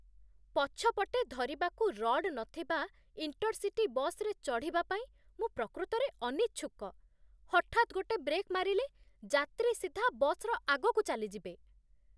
ପଛପଟେ ଧରିବାକୁ ରଡ୍ ନଥିବା ଇଣ୍ଟର୍‌ସିଟି ବସ୍‌ରେ ଚଢ଼ିବା ପାଇଁ ମୁଁ ପ୍ରକୃତରେ ଅନିଚ୍ଛୁକ। ହଠାତ୍ ଗୋଟେ ବ୍ରେକ୍ ମାରିଲେ ଯାତ୍ରୀ ସିଧା ବସ୍‌ର ଆଗକୁ ଚାଲିଯିବେ